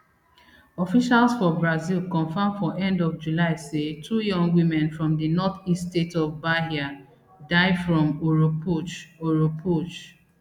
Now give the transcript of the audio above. officials for brazil confam for end of july say two young women from di north east state of bahia die from oropouche oropouche